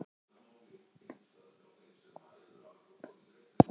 Léttur á sér og upprifinn.